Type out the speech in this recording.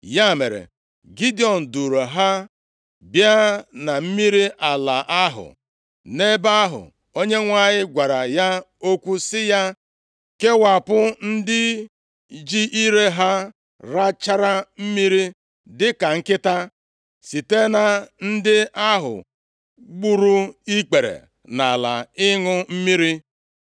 Ya mere, Gidiọn duuru ha bịa na mmiri ala ahụ. Nʼebe ahụ, Onyenwe anyị gwara ya okwu sị ya, “Kewapụ ndị ji ire ha rachara mmiri dịka nkịta, site na ndị ahụ gburu ikpere nʼala ịṅụ mmiri.”